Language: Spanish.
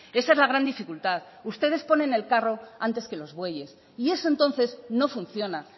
esa es la gran dificultad ustedes ponen el carro antes que los bueyes y eso entonces no funciona